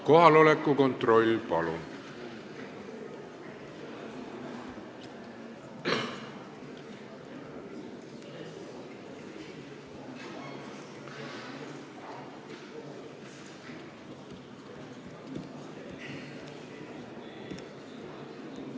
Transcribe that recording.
Kohaloleku kontroll, palun!